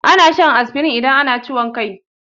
Ana shan asfirin idan ana ciwon kai.